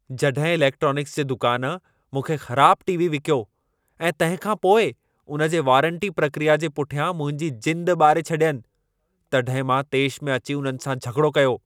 जॾहिं इलेक्ट्रोनिक्स जे दुकान मूंखे ख़राब टी.वी. विकियो ऐं तंहिं खां पोइ उन जे वारंटी प्रकिया जे पुठियां मुंहिंजी जिंद ॿारे छॾियनि, तॾहिं मां तेश में अची उन्हनि सां झॻिड़ो कयो।